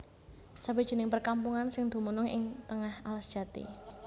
Sawijining perkampungan sing dumunung ing tengah alas jati